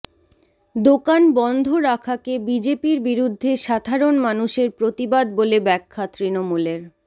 দোকান বন্ধ রাখাকে বিজেপির বিরুদ্ধে সাধারণ মানুষের প্রতিবাদ বলে ব্যাখ্যা তৃণমূলের